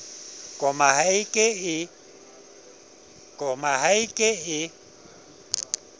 koma ha e ke e